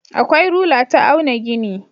Akwai rula ta auna gini.